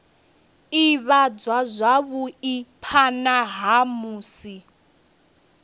ivhadzwa zwavhui phana ha musi